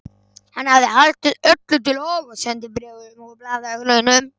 Hann hafði haldið öllu til haga, sendibréfum og blaðagreinum.